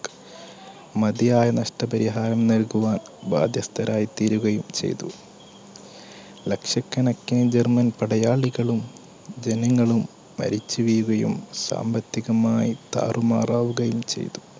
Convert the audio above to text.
മതിയായ നഷ്ടപരിഹാരം നൽകുവാൻ ബാധ്യസ്ഥരായി തീരുകയും ചെയ്തു. ലക്ഷക്കണക്കിന് ജർമ്മൻ പടയാളികളും ജനങ്ങളും മരിച്ചുവീഴുകയും സാമ്പത്തികമായി താറുമാരാകുകയും ചെയ്തു.